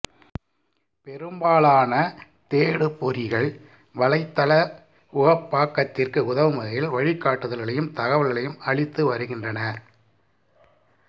பெரும்பாலான தேடுபொறிகள் வலைத்தள உகப்பாக்கத்திற்கு உதவும் வகையில் வழிகாட்டுதல்களையும் தகவல்களையும் அளித்து வருகின்றன